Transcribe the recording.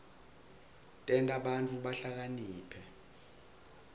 tenta bantfu bahlakaniphe